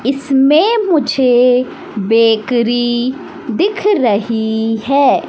इसमें मुझे बेकरी दिख रही है।